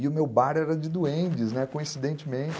E o meu bar era de duendes, né, coincidentemente.